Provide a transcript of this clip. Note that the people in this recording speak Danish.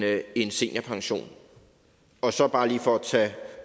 af en seniorpension og så bare lige for at tage